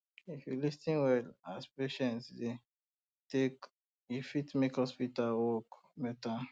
if you lis ten well as patient dey um talk e fit make hospital work um better